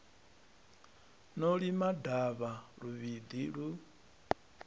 no lima davha luvhiḓi lu